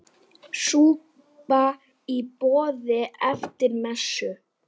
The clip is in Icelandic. Súpa í boði eftir messu.